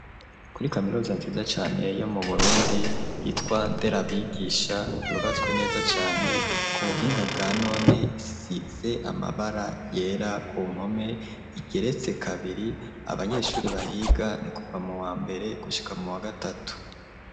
kuri kaminuza nziza cane yo mu Burundi yitwa nderabigisha yubatswe neza cane ku buhinga bwa none isize amabara yera ku mpome igeretse kabiri abanyeshuri bahiga ni kuva mu wa mbere gushika mu wa gatatu.